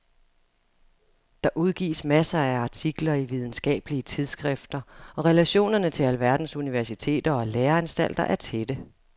Der udgives masser af artikler i videnskabelige tidsskrifter og relationerne til alverdens universiteter og læreanstalter er tætte.